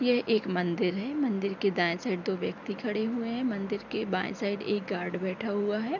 ये एक मंदिर है मंदिर के दाएं साइड दो व्यक्ति खड़े हुए है मंदिर के बाएं साइड एक गार्ड बैठा हुआ है।